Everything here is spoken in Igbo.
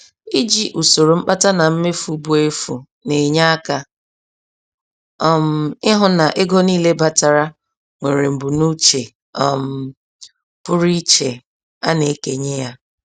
Iji usoro mkpata na mmefu bụ efu na-enye aka um ịhụ na ego niile batara nwere mbunuche um pụrụ iche a na-ekenye ya.